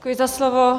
Děkuji za slovo.